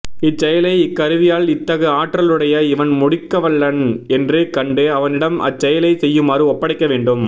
இச்செயலை இக் கருவியால் இத்தகு ஆற்றலுடைய இவன் முடிக்கவல்லன் என்று கண்டு அவனிடம் அச்செயலைச் செய்யுமாறு ஒப்படைக்க வேண்டும்